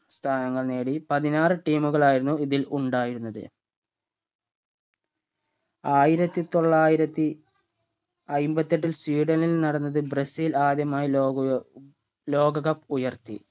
സ്ഥാനങ്ങൾ നേടി പതിനാറ് team കളായിരുന്നു ഇതിൽ ഉണ്ടായിരുന്നത് ആയിരത്തി തൊള്ളായിരത്തി അയ്മ്പത്തെട്ടിൽ സ്വീഡനിൽ നടന്നത് ബ്രസീൽ ആദ്യമായി ലോകൊ ലോക cup ഉയർത്തി